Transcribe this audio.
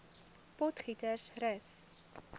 potgietersrus